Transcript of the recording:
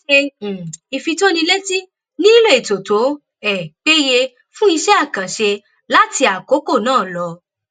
ó ṣe um ìfitónilétí nílílò ètò tó um péye fún iṣẹ àkànṣe láti àkókò náà lọ